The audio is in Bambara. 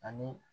Ani